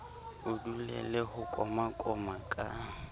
o dulele ho komakoma ka